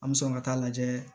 An bɛ sɔn ka taa lajɛ